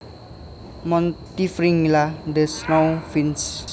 Montifringilla the snowfinches